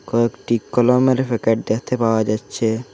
কয়েকটি কলমের প্যাকেট দেখতে পাওয়া যাচ্ছে।